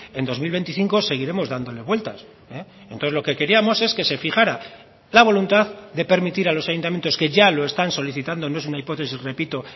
en dos mil veinticinco seguiremos dándole vueltas entonces lo que queríamos es que se fijará la voluntad de permitir a los ayuntamientos que ya lo están solicitando no es una hipótesis repito